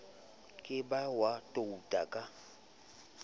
ka ba wa touta ka